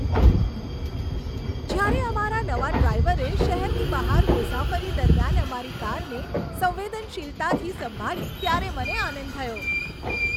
જ્યારે અમારા નવા ડ્રાઈવરે શહેરની બહાર મુસાફરી દરમિયાન અમારી કારને સંવેદનશીલતાથી સંભાળી ત્યારે મને આનંદ થયો.